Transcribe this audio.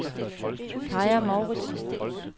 Kaja Mouritzen